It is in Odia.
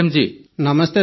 ପ୍ରେମ୍ ଜୀ ନମସ୍ତେ ସାର୍